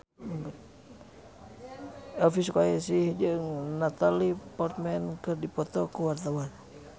Elvi Sukaesih jeung Natalie Portman keur dipoto ku wartawan